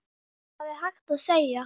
Hann er orðinn ekkill.